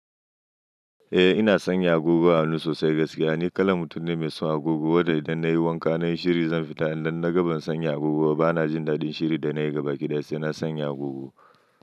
Eh ina sanya agogo a hannu sosai gaskiya. Ni kalan mutum ne mai son agogo, wanda idan nayi wanka nayi shiri zan fita idan na ga ban san yi agogo ba na jin daɗin shirin da nayi gabaki ɗaya sai na sanya agogo.